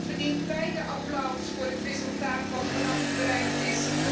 U verdient beiden applaus voor het resultaat dat vannacht bereikt is.